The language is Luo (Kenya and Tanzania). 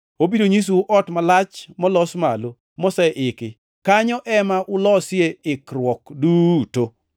Obiro nyisou ot malach molos malo, moseiki. Kanyo ema ulosie ikruok duto.”